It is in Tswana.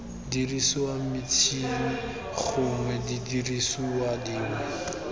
diriswang metšhini gongwe didiriswa dingwe